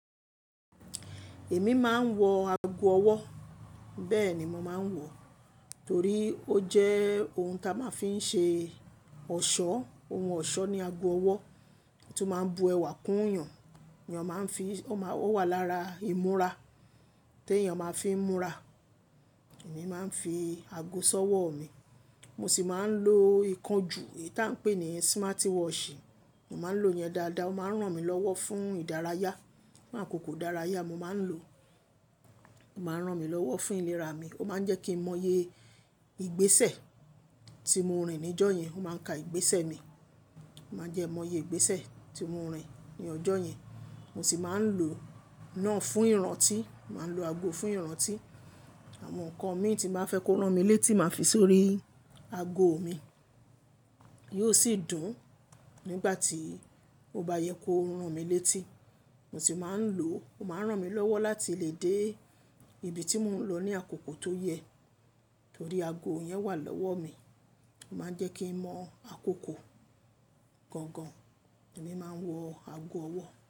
Èmi máa ń wọ ago ọwọ́. Bẹ́ẹ̀ ni mo máa ń wọ, torí ó jẹ́ ohun ta máa ń fi ń ṣe ọ̀ṣọ́. Ohun ọ̀ṣọ́ ni ago ọwọ́, tí ó máa ń bu ẹwà kún yàn. Yàn máa ń fi, ó máa wà lára ìmúra t'èèyàn máa ń fi múra. Èmi máa ń fi ago sọ́wọ́ mi. Mo sì máa ń lo ìkanjú, èyí tá ń pè ní smarti watch. Mo máa ń lo yẹn dáadáa. Ó máa ń ràn mí lọ́wọ́ fún ìdárayá, fún àkókò ìdárayá mo máa ń lo. Ó máa ń ràn mí lọ́wọ́ fún ìlera mi. Ó máa ń jẹ́ kí mọye ìgbésẹ̀ tí mo rìn ní jọ́ yẹn. Ó máa ń ka ìgbésẹ̀ mi, ó máa ń jẹ́ mọye ìgbésẹ̀ tí mo rìn ní ọjọ́ yẹn. Mo sì máa ń lo náà fún ìrántí, màá ń lo ago fún ìrántí. Àwọn nǹkan mi tí màá fẹ́ kó rán mi létí màá fi sórí ago mi. Yóò sì dùn nígbà tí ó bá yẹ kó rán mi létí. Mo sì máa ń lò ó, ó máa ń ràn mí lọ́wọ́ láti lè dé ibi tí mò ń lọ ní àkókò tó yẹ, torí ago yẹn wà lọ́wọ́ mi. Ó máa ń jẹ́ kí n mọ àkókò gangan. Èmi máa ń wọ ago ọwọ́